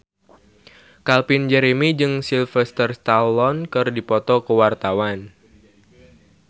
Calvin Jeremy jeung Sylvester Stallone keur dipoto ku wartawan